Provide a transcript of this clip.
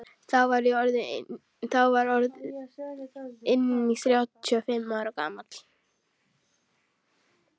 Þá var ég orð inn þrjátíu og fimm ára gamall.